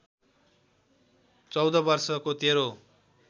१४ वर्षको तेरो